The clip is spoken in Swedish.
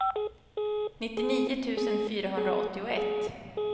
nittionio tusen fyrahundraåttioett